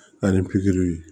Ani pikiriw ye